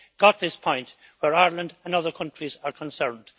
got this point where Ireland and other countries are concerned.